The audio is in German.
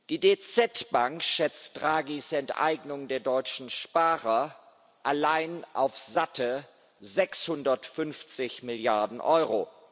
Die DZ Bank schätzt Draghis Enteignung der deutschen Sparer allein auf satte 650 Milliarden Euro.